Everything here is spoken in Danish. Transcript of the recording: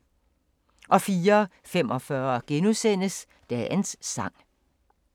04:45: Dagens sang *